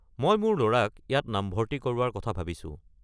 মই মোৰ ল'ৰাক ইয়াত নামভৰ্ত্তি কৰোৱাৰ কথা ভাবিছো।